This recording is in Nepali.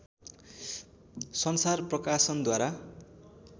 संसार प्रकाशनद्वारा